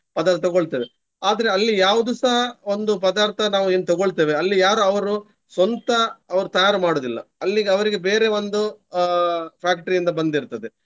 ಪದಾರ್ಥ ತಗೊಳ್ತೇವೆ. ಆದ್ರೆ ಅಲ್ಲಿ ಯಾವ್ದುಸ ಒಂದು ಪದಾರ್ಥ ನಾವು ಏನು ತಗೊಳ್ತೇವೆ ಅಲ್ಲಿ ಯಾರು ಅವ್ರು ಸ್ವಂತ ಅವ್ರು ತಯಾರು ಮಾಡುವುದಿಲ್ಲ. ಅಲ್ಲಿಗೆ ಅವರಿಗೆ ಬೇರೆ ಒಂದು ಅಹ್ factory ಯಿಂದ ಬಂದಿರ್ತದೆ.